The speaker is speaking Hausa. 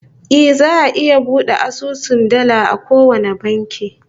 Eh, za'a iya bude asusun dala a kowane banki